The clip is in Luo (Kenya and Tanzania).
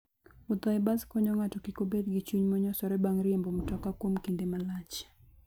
Wuotho e bas konyo ng'ato kik obed gi chuny monyosore bang' riembo mtoka kuom kinde malach.